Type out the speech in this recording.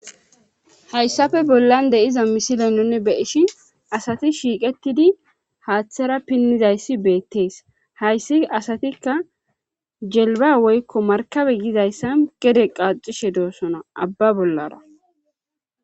hayssafe bollan de'iza misile nunni beyishin asati shiiqettidi haaththara pinnizayssi beettees hayssi asatikka jelba woykko markabe yizayssa gede qaaxishe doossona abba bollara